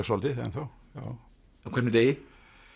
svolítið ennþá á hverjum degi